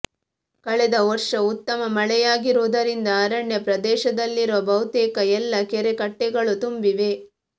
ಕಳೆದ ವರ್ಷ ಉತ್ತಮ ಮಳೆಯಾಗಿರುವುದರಿಂದ ಅರಣ್ಯ ಪ್ರದೇಶದಲ್ಲಿರುವ ಬಹುತೇಕ ಎಲ್ಲ ಕೆರೆಕಟ್ಟೆಗಳು ತುಂಬಿವೆ